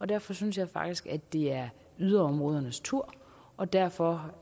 derfor synes jeg faktisk det er yderområdernes tur og derfor